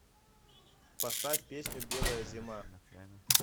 поставь песню белая зима